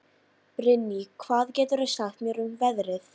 Brynný, hvað geturðu sagt mér um veðrið?